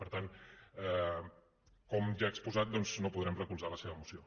per tant com ja he exposat doncs no podrem recolzar la seva moció